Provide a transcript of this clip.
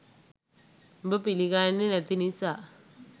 උඹ පිළි ගන්නේ නැති නිසා